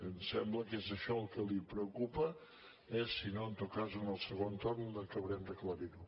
em sembla que és això el que li preocupa eh si no en tot cas en el segon torn acabarem d’aclarir ho